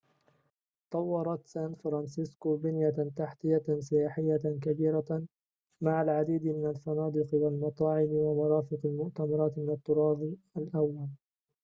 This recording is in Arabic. طورت سان فرانسيسكو بنيةً تحتيةً سياحيةً كبيرةً مع العديد من الفنادق والمطاعم ومرافق المؤتمرات من الطراز الأوّلِ